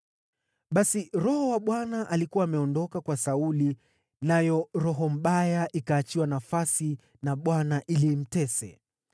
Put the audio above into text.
Basi Roho wa Bwana alikuwa ameondoka kwa Sauli, nayo roho mbaya ikaachiwa nafasi na Bwana ili imtese.